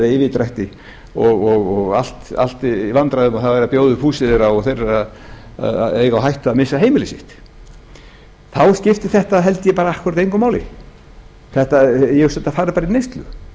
yfirdrætti og allt í vandræðum það er verið að bjóða upp húsið þeirra og þeir eiga á hættu að missa heimilið sitt þá skiptir þetta held ég bara akkúrat engu máli ég hugsa að þetta fari bara í neyslu